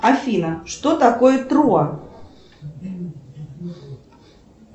афина что такое троа